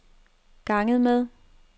ganget med